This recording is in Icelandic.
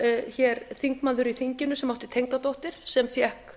var hér þingmaður í þinginu sem átti tengdadóttur sem fékk